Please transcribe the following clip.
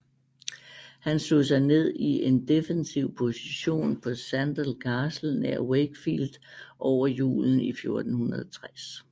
Han slog sig ned i en defensiv position på Sandal Castle nær Wakefield over julen i 1460